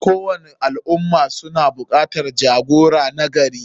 Kowani al ummah suna bukatan jagora nagari.